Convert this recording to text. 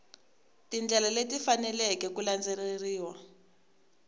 tindlela leti faneleke ku landzeleriwa